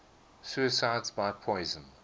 suicides by poison